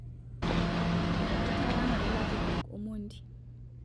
Ketara ngole lapurok Omondi